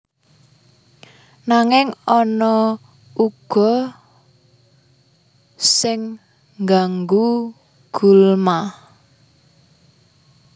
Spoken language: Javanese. Nanging ana uga sing ngganggu gulma